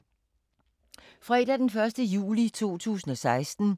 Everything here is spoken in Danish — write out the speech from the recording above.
Fredag d. 1. juli 2016